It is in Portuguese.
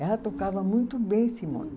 Ela tocava muito bem, Simone.